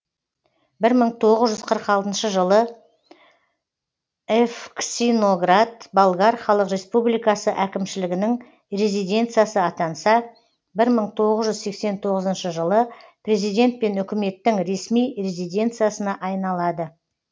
бір мың тоғыз жүз қырық алтыншы жылы евксиноград болгар халық республикасы әкімшілігінің резиденциясы атанса бір мың тоғыз жүз сексен тоғызыншы жылы президент пен үкіметтің ресми резиденциясына айналады